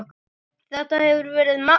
Þetta hefur verið magnað.